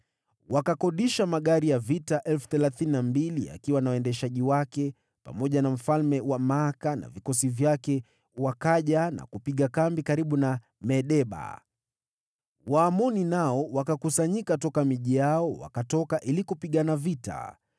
Wakakodisha magari ya vita 32,000 yakiwa na waendeshaji wake, pamoja na mfalme wa Maaka na vikosi vyake, wakaja na kupiga kambi karibu na Medeba. Waamoni nao wakakusanyika toka miji yao, wakatoka ili kupigana vita.